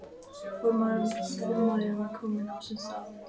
Formaðurinn var kominn á sinn stað.